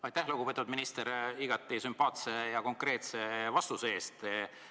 Aitäh, lugupeetud minister, igati sümpaatse ja konkreetse vastuse eest!